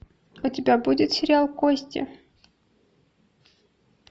у тебя будет сериал кости